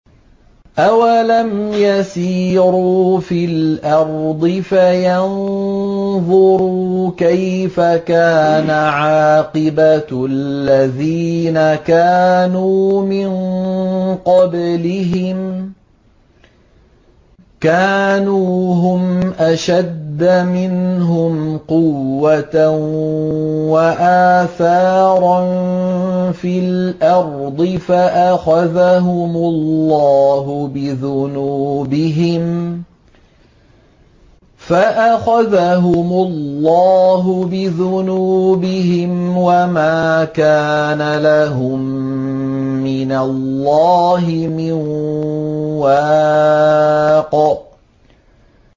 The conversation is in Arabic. ۞ أَوَلَمْ يَسِيرُوا فِي الْأَرْضِ فَيَنظُرُوا كَيْفَ كَانَ عَاقِبَةُ الَّذِينَ كَانُوا مِن قَبْلِهِمْ ۚ كَانُوا هُمْ أَشَدَّ مِنْهُمْ قُوَّةً وَآثَارًا فِي الْأَرْضِ فَأَخَذَهُمُ اللَّهُ بِذُنُوبِهِمْ وَمَا كَانَ لَهُم مِّنَ اللَّهِ مِن وَاقٍ